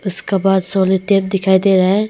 उसका बाद sellotape दिखाई दे रहा हैं।